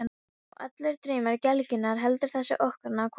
Og allir draumar gelgjunnar, heldur þessi ókunna kona áfram.